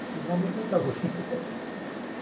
Vocês vão me aguentar hoje.